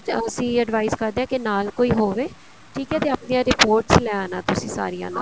ਅਸੀਂ advice ਕਰਦੇ ਹਾਂ ਕਿ ਨਾਲ ਕੋਈ ਹੋਵੇ ਠੀਕ ਹੈ ਤੇ ਆਪਣੀਆਂ reports ਲੈ ਆਣਾ ਸਾਰੀਆਂ ਤੁਸੀਂ ਨਾਲ